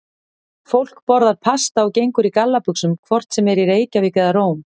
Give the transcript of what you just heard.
Fólk borðar pasta og gengur í gallabuxum hvort sem er í Reykjavík eða Róm.